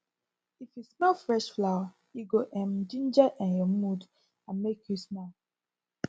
if you fresh flower e go um ginger um your mood and make you smile